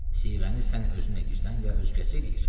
Siğəni sən özün eləyirsən ya özgəsi eləyir?